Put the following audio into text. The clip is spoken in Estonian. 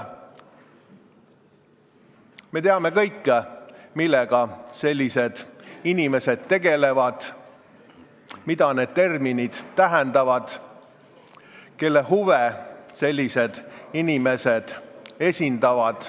Me teame kõik, mida need terminid tähendavad, millega sellised inimesed tegelevad, kelle huve nad esindavad.